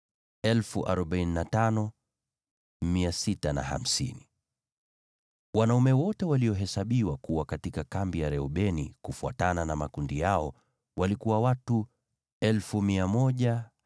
Wanaume wote walio katika kambi ya Reubeni, kufuatana na makundi yao, ni 151,450. Nao watakuwa nafasi ya pili kuondoka.